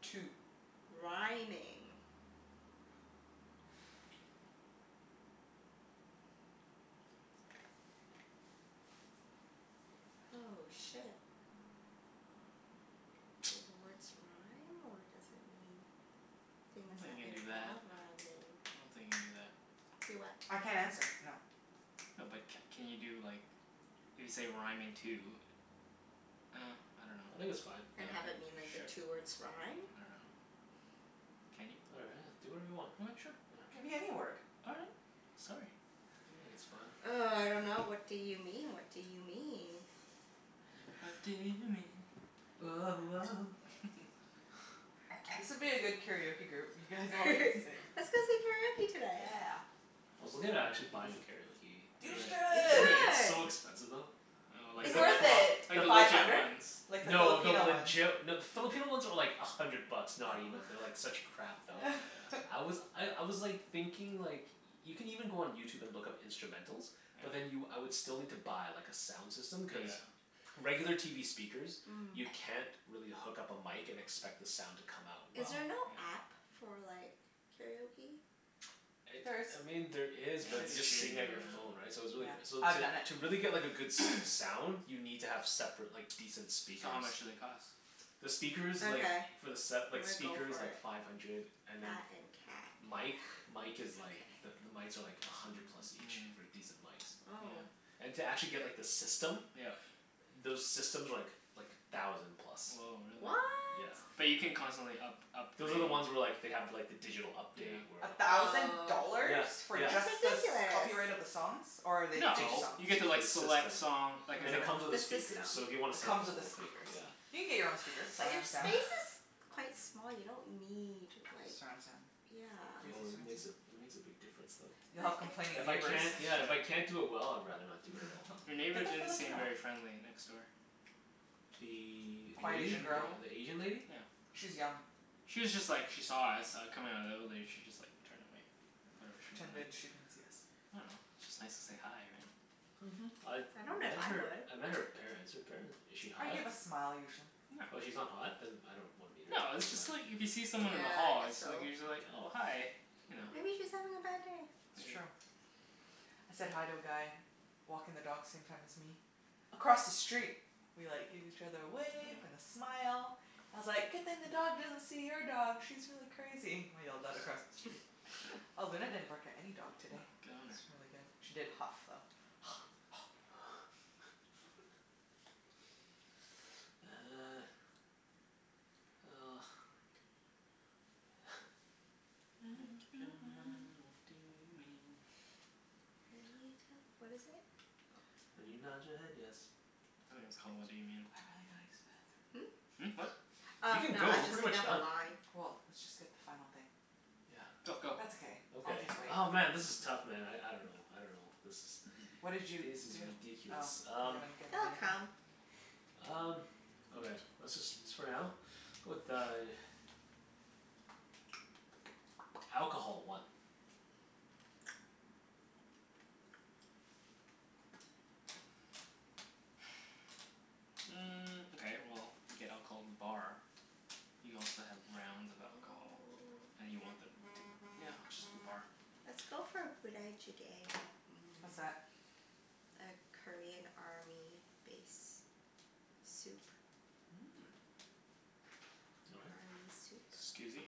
Two. Rhyming. Oh, shit. Do the words rhyme, or does it mean I don't things think that you can do that. involve rhyming? I don't think you can do that. Do what? I can't answer. No. No but c- can you do like, if you say rhyming two Ah, I dunno. I think Well, it's fine. And have it mean, like, the k, two sure. words rhyme? I dunno. Can you? All I do whatever you want. right. Sure. Yeah. It can be any word. All right. Sorry. I think it's fine. Oh, I dunno. What do you mean? What do you mean? What do you mean? Woah woah. This would be a good karaoke group. You guys all like to sing. Let's go sing karaoke tonight. Yeah. I was looking at actually buying a karaoke Do You machine. it. You Do should. it. Yeah. It's should! so expensive though. Oh, like It's Like Is the the le- worth it? it. like pro- the the Five legit hundred? ones. Like the No, the Filipino ones. legit No, the Filipino ones are like a hundred bucks. Not even. They're like such crap Oh, though. Oh. yeah. I was I I was like thinking like Y- you can even go on YouTube and look up instrumentals. But then you, Yeah. I would still need to buy like a sound system, cuz Yeah. regular TV speakers you Mm. can't really hook up a mic and expect the sound to come out Is well. there Mhm. Yeah. no app for like karaoke? It, There is. I mean, there Yeah, is but you it's Shitty. just shitty sing at your though, phone, Mm. yeah. right? So it's Yeah. really c- so I've to done it. to really get like a good s- sound You need to have separate like decent So how speakers. much do they cost? The speakers like Okay. for the set, I'm like gonna go speakers, for like it. five hundred. And then That and cat. mic mic Okay. is like the the mics are like a hundred plus Mm, each. yeah. For decent mics. Oh. And to actually get like the system Yeah. Those systems are like like a thousand plus. Woah, really? What? Yeah. But you can constantly up- upgrade Those are the ones where like they have like the digital update Yeah. where A thousand Oh. Yeah. dollars? For Yeah. just the s- That's ridiculous. copyright of the songs? Or are they To fake No. just songs? You get make sure to like the system select song, like a Cuz Ah, it it comes comes with The a system. speaker, so if you wanna set the with the whole thing, speakers. yeah. You can get your own speakers. But your Surround sound. Yeah. space is quite small. You don't need like Surround sound. Crazy Oh Yeah. it surround makes a, sound. it makes a big difference though. You'll have complaining But it's If I neighbors. can't, yeah, if I Yeah. can't do it well I'd rather not do it at all. Your neighbor Get the didn't seem Filipino one. very friendly, next door. The The Quiet A- Asian Asian girl. girl. the Asian lady? Yeah. She's young. She was just like, she saw us uh coming outta the evelator. She just like turned away. Oh, Whatever she pretended she didn't see us. I dunno. It's just nice to say hi, right? Mhm. I've I don't know if met I her, would. I met her parents. Her paren- is she I hot? give a smile usually. No. Oh, she's not hot? Then I don't wanna meet No, her. it's Doesn't just like matter. if you see someone in the Okay. Yeah, I hall guess it's like so. you're just like, "Oh, hi." Okay. You know? Yeah. Maybe she's having a bad day. It's Maybe. true. I said hi to a guy walking the dogs same time as me across the street. We like gave each other a wave and Yeah. a smile. I was like, "Good thing the dog doesn't see your dog. She's really crazy." I yelled that across the street. Oh, Luna didn't bark at any dog Oh, today. good on her. It's really good. She did huff, though. Uh. Well. What do you mean? Make up your mind. What do you mean? When you tell, what is it? When you nod your Oh, head yes. I think it's called, "What Do You Mean?" I've really gotta use the Hmm? bathroom. Hmm, what? Oh, You can no, go. I We're was just pretty thinking much of the done. line. Well, let's just get the final thing. Yeah. Go, That's go. okay. I'll Okay. just wait. Oh, man, this is tough man. I I dunno. I dunno. This is What This did you is do? Oh, ridiculous. you Um haven't given It'll anything? come. Um, okay. Let's just s- for now? Go with uh Alcohol. One. Mm, okay, well you get alcohol in the bar. You also have rounds of Oh. alcohol. And you want them t- yeah, just the bar. Let's go for Budae Jjigae. What's Mmm. that? A Korean army base soup. Mmm.